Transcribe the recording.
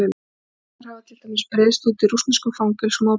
Berklar hafa til dæmis breiðst út í rússneskum fangelsum og á Balkanskaga.